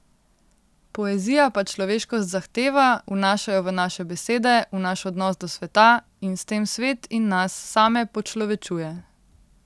Poezija pa človeškost zahteva, vnaša jo v naše besede, v naš odnos do sveta, in s tem svet in nas same počlovečuje.